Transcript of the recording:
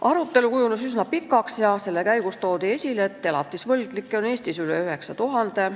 Arutelu kujunes üsna pikaks ja selle käigus toodi esile, et elatisvõlgnikke on Eestis üle 9000.